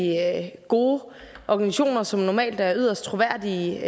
gode organisationer som normalt er yderst troværdige